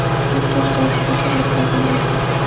Charchash ba’zi kasalliklarning belgisi.